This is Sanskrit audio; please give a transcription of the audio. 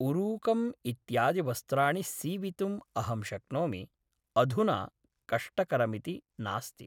ऊरुकम् इत्यादिवस्त्राणि सीवितुं अहं शक्नोमि अधुना कष्टकरमिति नास्ति